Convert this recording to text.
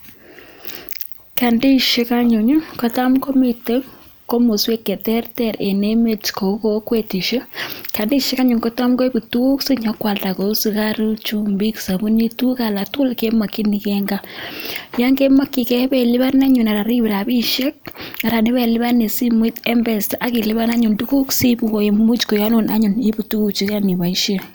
Kandiisiek komiten komosuek cheterter en emeet kou kokwetisiek, kandiisiek kotam koibu tuguk sinyokoslda kouu sikaruuk, ih chumbik, sabanit, tuguk alak tugul, chemakienge en kaa. Yoon kemakienige ibeluban anan anikoite rabisiek anan ibeluban en simoit mpesa akiluban imuch koyanun tukuk inyoibaisien